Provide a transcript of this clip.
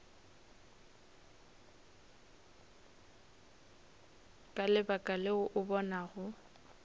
ka lebaka leo o bonago